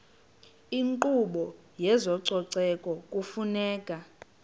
inkqubo yezococeko kufuneka